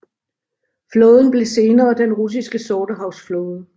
Flåden blev senere den russiske Sortehavs Flåde